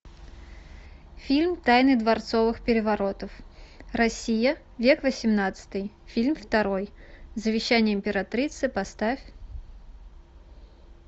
фильм тайны дворцовых переворотов россия век восемнадцатый фильм второй завещание императрицы поставь